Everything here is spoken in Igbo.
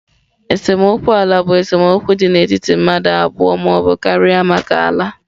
Esemokwu ala bụ esemokwu dị n'etiti mmadụ abụọ ma ọ bụ karịa maka ala.